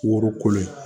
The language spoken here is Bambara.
Woro kolo ye